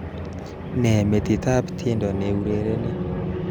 Nee metitab tiendo neurereni